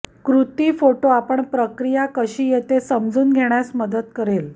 कृती फोटो आपण प्रक्रिया कशी येते समजून घेण्यास मदत करेल